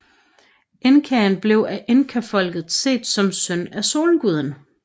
Inkaen blev af Inkafolket set som søn af solguden